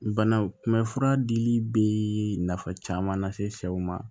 Banaw kunbɛ fura dili bɛ nafa caman lase sɛw ma